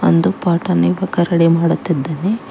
ಒಂದು ಪಟ ನೆಬು ಕರಡಿ ಮಾಡುತ್ತಿದ್ದನೆ.